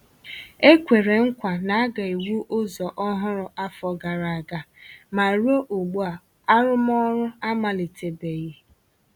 E kwèrè nkwa na a ga-ewu ụzọ ọhụrụ afọ gara aga, ma ruo ugbu a, arụmọrụ amalite-beghi